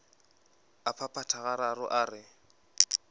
a phaphatha gararo a re